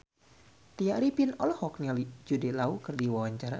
Tya Arifin olohok ningali Jude Law keur diwawancara